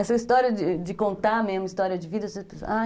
Essa história de contar mesmo, história de vida